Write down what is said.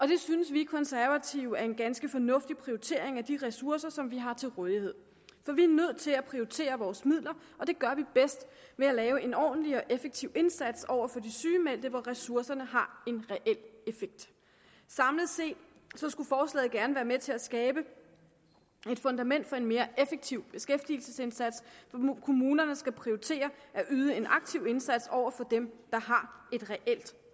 det synes vi konservative er en ganske fornuftig prioritering af de ressourcer som vi har til rådighed for vi er nødt til at prioritere vores midler og det gør vi bedst ved at lave en ordentlig og effektiv indsats over for de sygemeldte hvor ressourcerne har en reel effekt samlet set skulle forslaget gerne være med til at skabe et fundament for en mere effektiv beskæftigelsesindsats hvor kommunerne skal prioritere at yde en aktiv indsats over for dem der har et reelt